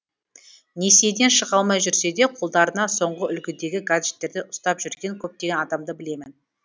несиеден шыға алмай жүрсе де қолдарына соңғы үлгідегі гаджеттерді ұстап жүрген көптеген адамды білемін